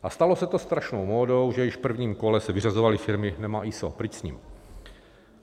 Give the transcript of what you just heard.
A stalo se to strašnou módou, že již v prvním kole se vyřazovaly firmy - nemá ISO, pryč s ní.